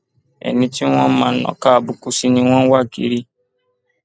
ẹni tí wọn máa nàka àbùkù sí ni wọn ń wá kiri